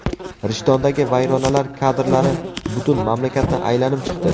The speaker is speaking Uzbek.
Rishtondagi vayronalar kadrlari butun mamlakatni aylanib chiqdi.